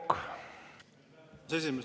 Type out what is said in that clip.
Lugupeetud aseesimees!